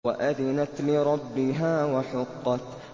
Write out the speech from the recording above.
وَأَذِنَتْ لِرَبِّهَا وَحُقَّتْ